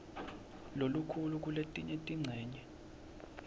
lokukhulu kuletinye tincenye